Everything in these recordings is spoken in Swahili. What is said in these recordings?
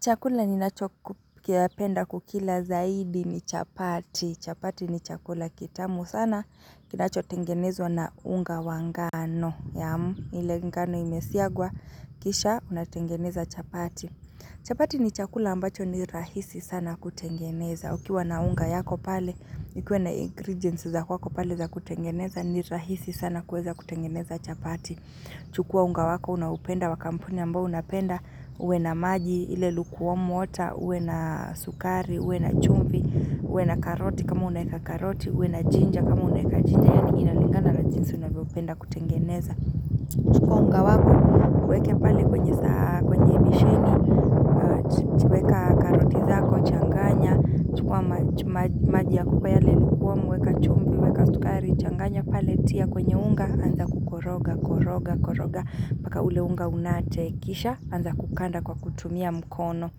Chakula ninachopenda kukila zaidi ni chapati. Chapati ni chakula kitamu sana. Kinachotengenezwa na unga wa ngano. Ile ngano imesiagwa. Kisha unatengeneza chapati. Chapati ni chakula ambacho ni rahisi sana kutengeneza. Ukiwa na unga yako pale. Nikuwe na ingredients za kwako pale za kutengeneza ni rahisi sana kuweza kutengeneza chapati. Chukua unga wako unaoupenda wa kampuni ambao unapenda. Uwe na maji, ile lukuwomu wota, uwe na sukari, uwe na chumvi, uwe na karoti kama unaweka karoti uwe na jinja kama unaweka jinja, yaani inalingana na jinsi unavyopenda kutengeneza chukua unga wako, uweke pale kwenye saa, kwenye besheni maji ya kupa yale lukuwomu, weka chumvi, weka sukari, changanya pale tia kwenye unga anza kukoroga, koroga, koroga, paka ule unga unate kisha, anza kukanda kwa kutumia mkono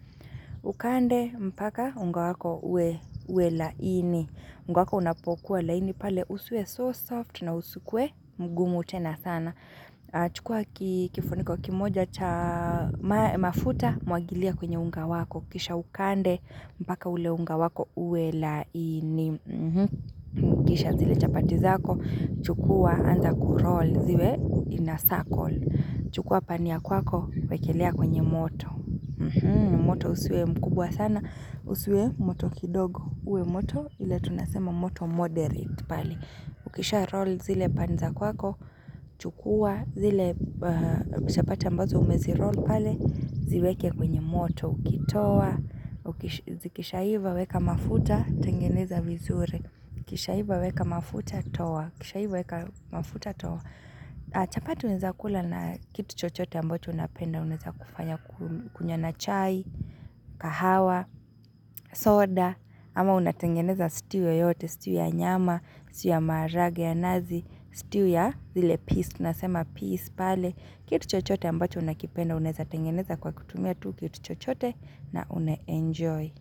Ukande mpaka unga wako uwe laini. Unga wako unapokuwa laini pale usiwe so soft na usikuwe mgumu tena sana chukua kifuniko kimoja cha mafuta mwagilia kwenye unga wako Kisha ukande mpaka ule unga wako uwe laini Kisha zile chapati zako chukua anza kuroll ziwe in a circle chukua pani ya kwako wekelea kwenye moto moto usiwe mkubwa sana usiwe moto kidogo uwe moto ile tunasema moto moderate ukisha roll zile pan za kwako chukua zile chapati ambazo umeziroll pale ziweke kwenye moto ukitoa kishaiva weka mafuta tengeneza vizuri kishaiva weka mafuta toa kishaiva weka mafuta toa. Chapati unaweza kula na kitu chochote ambacho unapenda unaeza kufanya kunywa na chai, kahawa, soda ama unatengeneza stew yoyote, stew ya nyama, stew ya maharage ya nazi stew ya zile peas, tunasema peas, pale kitu chochote ambacho unakipenda, unaeza tengeneza kwa kutumia tu kitu chochote na une-enjoy.